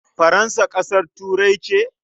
Faransa ƙasar Turai ce?